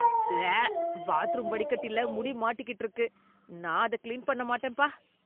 உவ்வே! பாத்ரூம் வடிகட்டில முடி மாட்டிக்கிட்டு இருக்கு. நான் அத கிளீன் பண்ண மாட்டேன்பா.